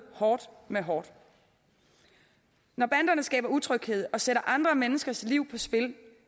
hårdt med hårdt når banderne skaber utryghed og sætter andre menneskers liv på spil